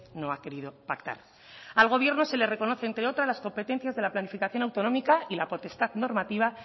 no ha querido pactar al gobierno se le reconocen entre otras las competencias de la planificación autonómica y la potestad normativa